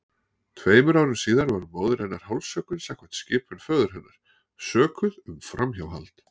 Tveimur árum síðar var móðir hennar hálshöggvin samkvæmt skipun föður hennar, sökuð um framhjáhald.